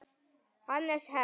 Hannes Herm.